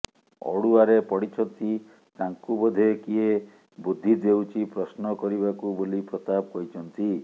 ଅଡୁଆରେ ପଡ଼ିଛନ୍ତି ତାଙ୍କୁ ବୋଧେ କିଏ ବୁଦ୍ଧି ଦେଉଛି ପ୍ରଶ୍ନ କରିବାକୁ ବୋଲି ପ୍ରତାପ କହିଛନ୍ତି